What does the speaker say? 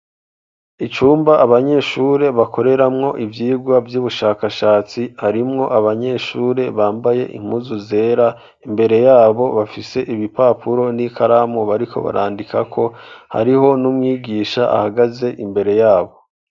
Icumba abanyeshure bakoreramwo ivyigwa vy'ubushakashatsi harimwo abanyeshure bambaye impuzu zera imbere yabo bafise ibipapuro n'ikaramu bariko barandikako hariho n'umwigisha ahagaze imbere yabo.